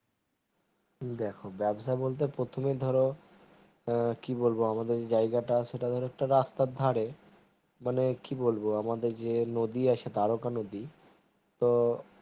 দেখো ব্যবসা বলতে প্রথমে ধরো কি বলবো আমাদের জায়গাটা সেটাধরো অনেকটা রাস্তার ধারে মানে কি বলবো আমাদের যে নদী আছে দারোগা নদী তো